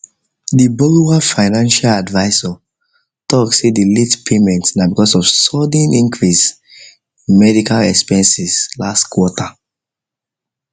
the borrower financial advisor talk say the late payment na because of sudden increase in medical expenses last quarter